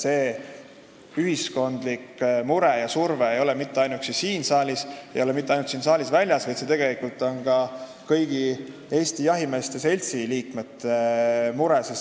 See ühiskondlik mure ja surve ei ole mitte ainuüksi siin saalis, see ei ole mitte ainult siit saalis väljas, vaid see tegelikult on ka kõigi Eesti Jahimeeste Seltsi liikmete mure.